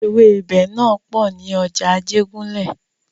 Ewẹ́bẹ̀ náà pò ní ọjà Ajégúnlẹ̀.